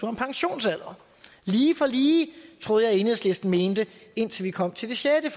om pensionsalder lige for lige det troede jeg enhedslisten mente indtil vi kom til det sjette